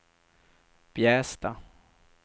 Bjästa